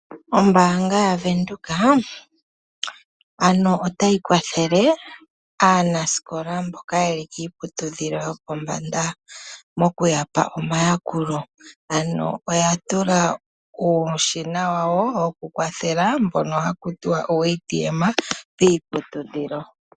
Ombaanga yaVenduka ano otayi kwathele aanasikola mboka yeli kiiputudhilo yo pombanda moku yapa omayakulo. Ano oya tula uushina wawo woku kwathela mpono haku tiwa uuATM piiputudhilo.